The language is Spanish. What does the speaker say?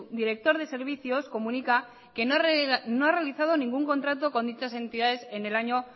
director de servicios comunica que no ha realizado ningún contrato con dichas entidades en el año